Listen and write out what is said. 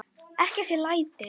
Ekki þessi læti.